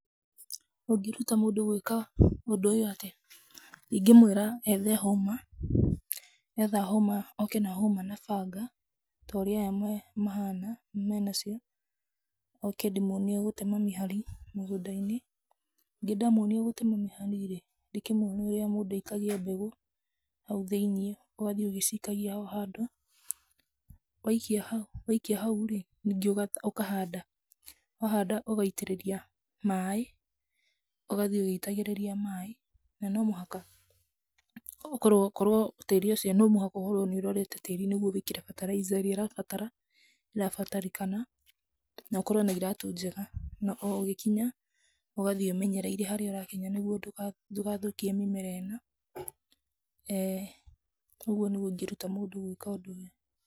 Ũngĩruta mũndũ gwĩka ũndũ ũyũ atĩa? Ingĩmũĩra ethe hũma, etha hũma, oke na hũma na banga, ta ũrĩa aya mahana, me nacio, oke ndĩmuonie gũtema mĩhari mĩgũnda-inĩ. Ndamuonia gũtema mĩhari rĩ, ndĩkĩmuonie ũrĩa mũndũ aikagia mbegũ hau thĩinĩ, ũgathiĩ ũgĩcikagia o handũ, waikia hau rĩ, ningĩ ũkahanda. Wahanda ũgaitĩrĩria maĩ, ũgathiĩ ũgĩitagĩrĩria maĩ na no mũhaka okorwo tĩĩri ũcio no mũhaka ũkorwo nĩ ũrorete tĩĩri nĩguo ũingĩre fertilizer ĩrĩa ĩrabatara irabatarĩkana na ũkorwo na iratũ njega na o ũgĩkinya, ũgathiĩ ũmenyereire harĩa ũrakinya ndũgathũkie mĩmera ĩno. Ee ũguo nĩguo ingĩruta mũndũ gwĩka ũndũ ũyũ.